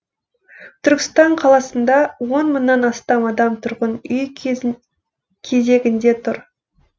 түркістан қаласында он мыңнан астам адам тұрғын үй кезегінде тұр